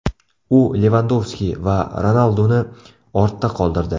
U Levandovski va Ronalduni ortda qoldirdi.